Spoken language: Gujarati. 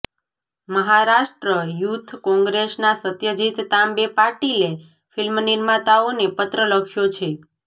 મહારાષ્ટ્ર યુથ કોંગ્રેસના સત્યજીત તાંબે પાટીલે ફિલ્મનિર્માતાઓને પત્ર લખ્યો છે